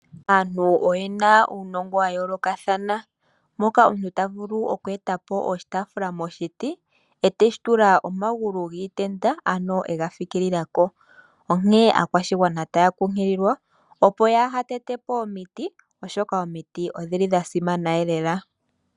Aantu oyena uunongo wa yoolokathana moka omuntu ta vulu okweeta po oshitaafula moshiti e teshi tula omagulu giitenda ano ega fikila ko. Onkene aakwashigwana taa kunkililwa opo yaa ha tete po omiti oshoka omiti odhili dha simana lela.